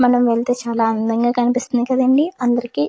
మనం వెళితే చాలా అందంగా కనిపిస్తుంది కదండీ అందరికి.